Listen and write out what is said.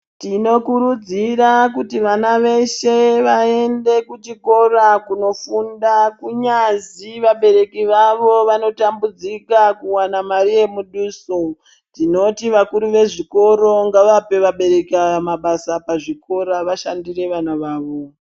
Tinokurudzira kuti vana veshe vaende kuchikora kunofunda kunyazi vabereki vavo vanotambudzika kuwana mari yemuduso. Tinoti vakuru vezvikoro ngavape abereki ava mabasa pazvikora vashandire vana vavo.